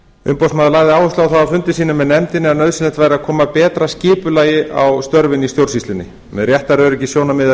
umboðsmaður lagði áherslu á það á fundi sínum með nefndinni að nauðsynlegt væri að koma betra skipulagi á störfin í stjórnsýslunni með réttaröryggissjónarmið að